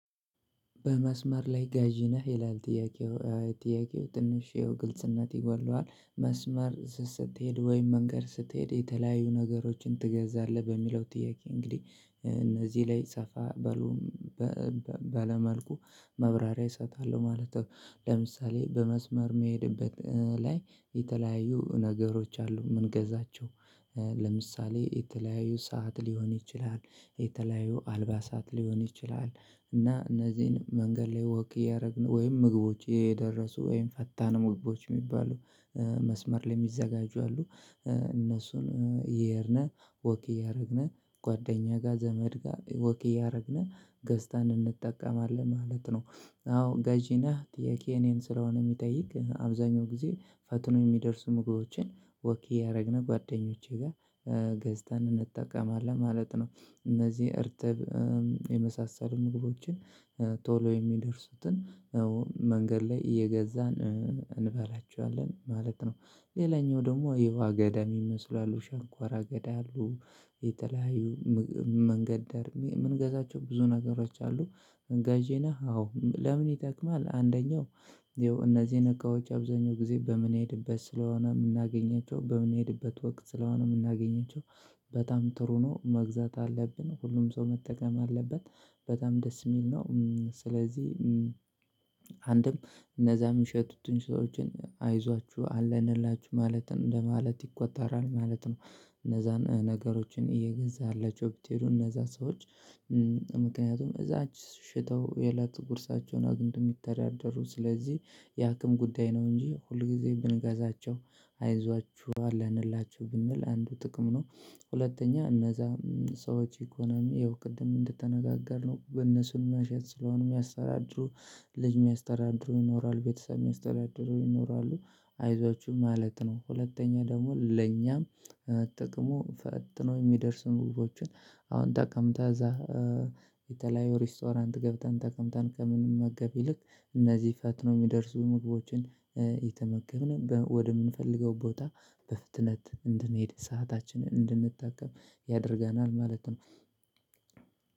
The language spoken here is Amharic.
በመስመር ላይ ገዥ ነህ ይላል ጥያቄው ጥያቄው ትንሽ ግልጽነት ይጎድለዋል መስመር ስትሄድ ወይም መንገድ ስትሄድ የተለያዩ ነገሮችን ትገዛለህ በሚለው ጥያቄ እንግዲህ እነዚህ ላይ ሰፋ ባለ ባለ መልኩ ማብራሪያ እሰጣለሁ ማለት ነው ለምሳሌ በመስመር እሚሄድበት ላይ የተለያዩ ነገሮች አሉ እምንገዛቸው ለምሳሌ የተለያዩ ሰዓት ሊሆን ይችላል የተለያዩ አልባሳት ሊሆን ይችላል እና እነዚህን መንገድ ላይ ወክ እያደረግን ወይም ምግቦች የደረሱ ወይም ፈጣን ምግቦች እሚባሉ መስመር ላይ እሚዘጋጁ አሉ እነሱን እሄድን ወኪ እያደረግን ጓደኛ ጋር ዘመድ ጋር ወክ እያደረግን ገዝተን እንጠቀማለን ማለት ነው አዎ ገዢ ነህ ጥያቄዬ እኔን ስለሆነ የሚጠይቅ አብዛኛው ጊዜ ፈጥኑው የሚደርሱ ምግቦቼን ወክ እያደረግን ጓደኞቼ ጋር ገዝተን እንጠቀማለን ማለት ነው። እነዚህ እርጥብ የመሳሰሉ ምግቦችን ቶሎ የሚደርሱትን መንገድ ላይ እየገዛን እንበላቸዋለን ማለት ነው። ሌላኛው ደግሞ የውሃአገዳ የሚመስሉ አሉ ሸንኳራ ገዳ አሉ። የተለያዩ መንገድ ዳር የምንገዛቸው ብዙ ነገሮች አሉ ገዥ ነህ? አዎ ለምን ይጠቅማል አንደኛው እንደው እነዚህ እቃዎች አብዛኛውን ጊዜ በምንሄድበት ስለሆነ የምናገኛቸው በምንሄድበት ወቅት ስለሆነ የምናገኛቸው በጣም ጥሩ ነው መግዛት አለብን። ሁሉም ሰው መጠቀም አለበት በጣም ደስ የሚል ነው። ስለዚህ አንድም እነዛም ምየሚሸጡትን ሰዎችን አይዟችሁ አለንላችሁ ማለት ነው እንደማለት ይቆጣራል። ማለት ነው እነዛን ነገሮችን እየገዛህላችው ብትሄዱ እነዛ ሰዎች ምክንያቱም እዛች ሽጠው የእለት ጉርሳቸውን አግኝተው የሚተዳደሩ ስለዚህ የአቅም ጉዳይ ነው እንጂ ሁልጊዜ ብንገዛቸው አይዟችሁ አለ እንላችሁ ብንል አንዱ ጥቅም ነው። ሁለተኛ እነዛ ሰዎች ኢኮኖሚ ይኸው ቅድም እንድትነጋገርነው በነሱን መሸጥ ስለሆነ የሚያስተዳድሩ ልጅ የሚያስተዳድሩ ይኖራል ቤተሰብ የሚያስተዳድሩ ይኖራሉ። አይዟችሁ ማለት ነው ሁለተኛ ደግሞ ለኛም ጥቅሙ ፈጥኖ የሚደርሱ ምግቦችን አሁን ጠቀምታ እዛ የተለያዩ ሬስቶራንት ገብተን ተቀምጠን ከምንመገብ ይልቅ እነዚህ ፈጥኖ የሚደርሱ ምግቦችን ከተመገብንን ወደምንፈልገው ቦታ በፍጥነት እንድንሄድ ሰአታችንን እንድንጠቀም ያደርገናል ማለት ነው።